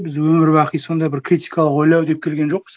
біз өмір бақи сондай бір критикалық ойлау деп келген жоқпыз